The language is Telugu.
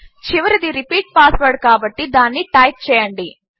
చివరిది రిపీట్ పాస్వర్డ్ కాబట్టి దానిని టైప్ చేయండి